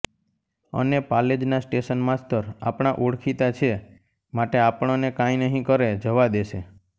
અને પાલેજના station master આપણા ઓળખીતા છે માટે આપણને કાંઈ નહીં કરે જવા દેશે